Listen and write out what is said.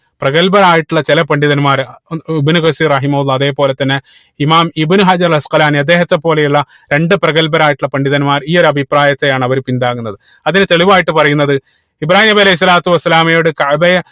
പ്രഗൽഭരായിട്ടുള്ള ചില പണ്ഡിതന്മാർ ഇബിനു റഹിമു അതുപോലെ തന്നെ ഇമാം ഇബിനു ഹജറുൽ അദ്ദേഹത്തെ പോലെയുള്ള രണ്ട് പ്രഗൽഭരായിട്ടുള്ള പണ്ഡിതന്മാർ ഈ ഒരു അഭിപ്രായത്തെയാണ് അവര് പിന്താങ്ങുന്നത് അതിന് തെളിവായിട്ട് പറയുന്നത് ഇബ്രാഹീം നബി അലൈഹി സ്വലാത്തു വസ്സലാമയോട് കഅബയെ